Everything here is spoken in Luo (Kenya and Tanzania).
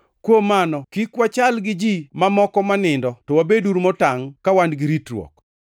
Kuom mano, kik wachal gi ji mamoko ma nindo, to wabeduru motangʼ ka wan gi ritruok.